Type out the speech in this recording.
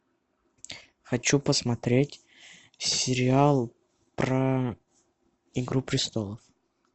хочу посмотреть сериал про игру престолов